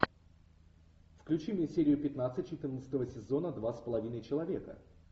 включи мне серию пятнадцать четырнадцатого сезона два с половиной человека